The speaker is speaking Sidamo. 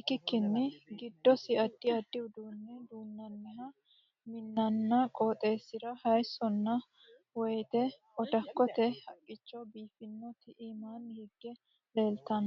ikikinni gidosi addi addi uduune duunnanni mininna qooxeesisira hayisonna woyati oddakote haqicho biifinoti iimaanni hige leeltano.